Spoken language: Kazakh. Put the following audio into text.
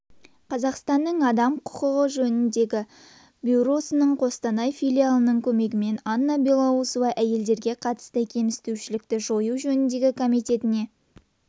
қазақстанның адам құқығы жөніндегі бюросының қостанай филиалының көмегімен анна белоусова әйелдерге қатысты кемсітушілікті жою жөніндегі комитетіне